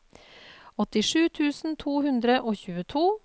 åttisju tusen to hundre og tjueto